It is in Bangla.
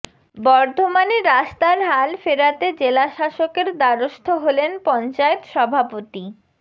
বর্ধমানে রাস্তার হাল ফেরাতে জেলাশাসকের দ্বারস্থ হলেন পঞ্চায়েত সভাপতি